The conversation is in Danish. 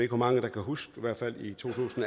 hvor mange der kan huske